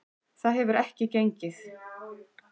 Það hefur ekki gengið.